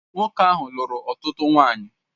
Nwoke ahụ lụrụ ọtụtụ nwanyị